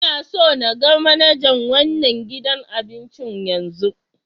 N'na so n gan manajan wanan gidan abincin yanzu!